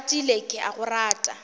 ratile ke a go rata